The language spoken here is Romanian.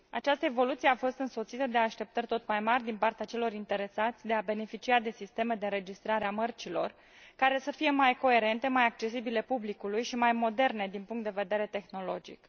Această evoluție a fost însoțită de așteptări tot mai mari din partea celor interesați de a beneficia de sisteme de înregistrare a mărcilor care să fie mai coerente, mai accesibile publicului și mai moderne din punct de vedere tehnologic.